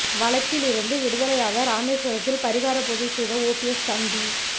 வழக்கில் இருந்து விடுதலையாக ராமேஸ்வரத்தில் பரிகார பூஜை செய்த ஓபிஎஸ் தம்பி